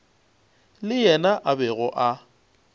le yena a bego a